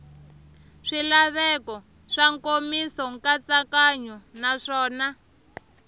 swilaveko swa nkomiso nkatsakanyo naswona